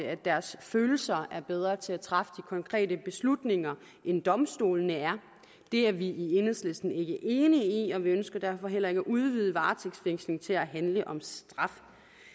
at deres følelser er bedre til at træffe de konkrete beslutninger end domstolene er det er vi i enhedslisten ikke enige i og vi ønsker derfor heller ikke at udvide varetægtsfængsling til at handle om straf